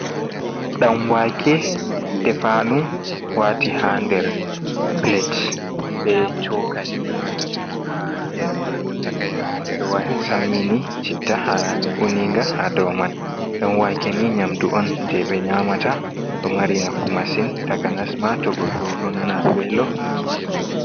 Dan wake ɗefanu wati ha der plate be chokali ha der majum. Be do sammini chitta ha uninga ha do man. Dan wake ni nyamdu on je be nyamata do mari nafu masin takanasma to goddo do nana velo.